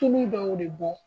tulu dɔw de bɔ